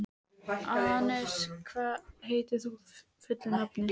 Anes, hvað heitir þú fullu nafni?